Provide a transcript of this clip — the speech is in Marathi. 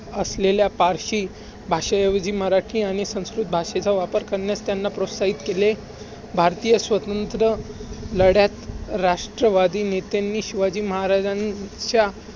असलेल्या फारशी भाषेऐवजी मराठी आणि संस्कृत भाषेचा वापर करण्यास त्यांना प्रोत्साहित केले. भारतीय स्वतंत्र लढ्यात राष्ट्रवादी नेत्यांनी